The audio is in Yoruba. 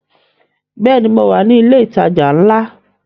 Bẹ́ẹ̀ni, mo wà ní ilẹ̀ ìtajà ńlá